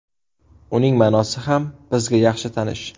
Uning ma’nosi ham bizga yaxshi tanish.